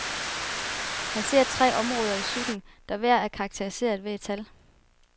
Han ser tre områder i psyken, der hver er karakteriseret ved et tal.